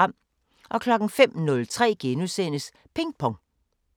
05:03: Ping Pong *